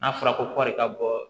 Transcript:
N'a fɔra ko kɔɔrɔri ka bɔ